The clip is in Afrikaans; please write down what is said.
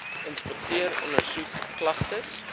inspekteer ondersoek klagtes